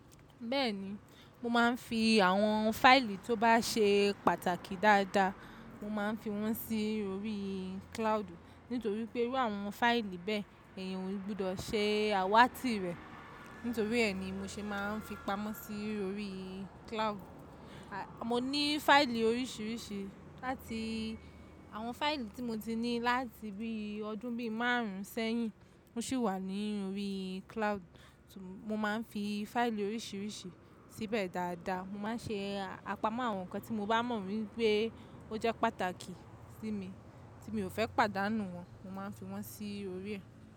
Bẹ́ẹ̀ni, mo máa ń fi àwọn fáìlì tó bá ṣe pàtàkì dáadáa, mo máa ń fi wọ́n sí orí cloud. Nítorí pé irú àwọn fáìlì bẹ́ẹ̀, ẹ̀yàn ò gbọdọ̀ ṣe àwátí rẹ̀. Nítorí ẹ́ ni mo ṣe máa ń fi pamọ́ sí orí cloud. Mo ní fáìlì oríṣiríṣi láti àwọn fáìlì tí mo ti ní láti bí ọdún bí márùn ún sẹ́yìn, ó sì wà ní orí cloud. Mo máa ń fi fáìlì oríṣiríṣi síbẹ̀ dáadáa. Mo máa ń ṣe àpamọ́ àwọn nǹkan tí mo bá mọ̀ wípé ó jẹ́ pàtàkì sí mi tí mi ò fẹ́ pàdánù wọ́n, mo máa ń fi wọ́n sí orí ẹ̀